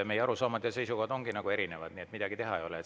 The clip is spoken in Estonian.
Meie arusaamad ja seisukohad ongi erinevad, nii et midagi teha ei ole.